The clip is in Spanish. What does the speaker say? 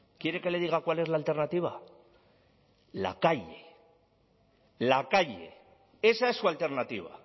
quiere que le diga cuál es la alternativa la calle la calle esa es su alternativa